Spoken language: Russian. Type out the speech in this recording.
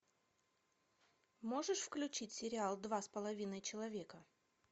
можешь включить сериал два с половиной человека